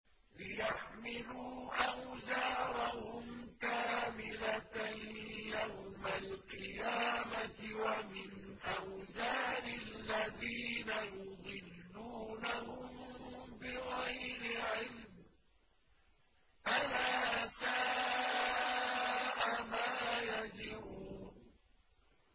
لِيَحْمِلُوا أَوْزَارَهُمْ كَامِلَةً يَوْمَ الْقِيَامَةِ ۙ وَمِنْ أَوْزَارِ الَّذِينَ يُضِلُّونَهُم بِغَيْرِ عِلْمٍ ۗ أَلَا سَاءَ مَا يَزِرُونَ